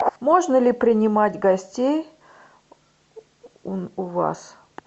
можно ли принимать гостей у вас